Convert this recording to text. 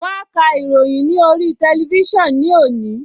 Wọ́n á ka ìròyìn ní orí tẹlifísàn ní òní